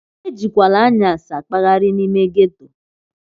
Ejikwala anyasi akpaghari n'ime ghetto!